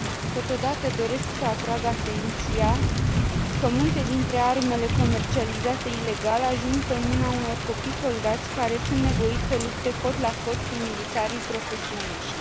Totodată, doresc să atrag atenția că multe dintre armele comercializate ilegal ajung pe mâna unor copii soldați, care sunt nevoiți să lupte cot la cot cu militarii profesioniști.